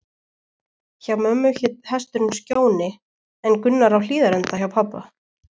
Hjá mömmu hét hesturinn Skjóni, en Gunnar á Hlíðarenda hjá pabba.